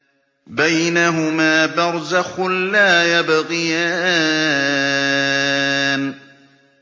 بَيْنَهُمَا بَرْزَخٌ لَّا يَبْغِيَانِ